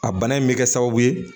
A bana in bɛ kɛ sababu ye